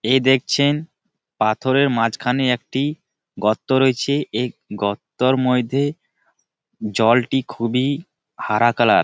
এ দেখসি পাথরের মাজখানে একই গর্ত রয়েছে। এই গর্তের মর্ধে জলটি খুব ই হারা কালার ।